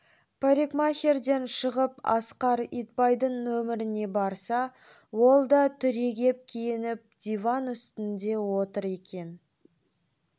парикмахерден шығып асқар итбайдың нөмеріне барса ол да түрегеп киініп диван үстінде отыр екен